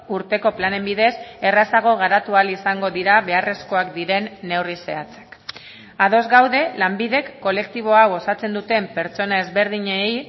urteko planen bidez errazago garatu ahal izango dira beharrezkoak diren neurri zehatzak ados gaude lanbidek kolektibo hau osatzen duten pertsona ezberdinei